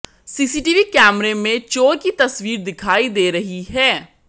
CCTV कैमरे में चोर की तस्वीर दिखाई दे रही है